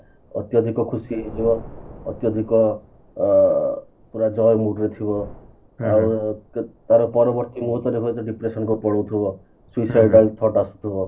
ଅତ୍ୟଧିକ ଖୁସି ହେଇଯିବା ଅତ୍ୟଧିକ ଅ ପୁରା joy mood ରେ ଥିବ ଆଉ ତାର କୁଆଡେ depression ଦେଖିଲା ବେଳୁ ଥିବ